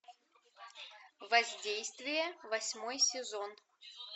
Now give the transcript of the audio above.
воздействие восьмой сезон